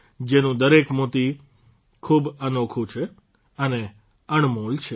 જેનું દરેક મોતી ખૂબ અનોખું અને અણમોલ છે